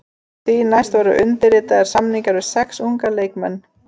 Því næst voru undirritaðir samningar við sex unga leikmenn.